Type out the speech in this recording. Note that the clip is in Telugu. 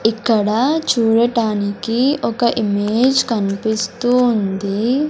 ఇక్కడ చూడటానికి ఒక ఇమేజ్ కన్పిస్తూ ఉంది.